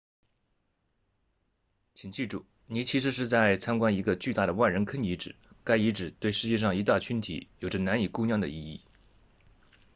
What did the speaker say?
请记住你其实是在参观一个巨大的万人坑遗址该遗址对世界上一大群体有着难以估量的意义